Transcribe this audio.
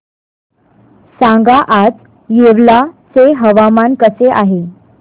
सांगा आज येवला चे हवामान कसे आहे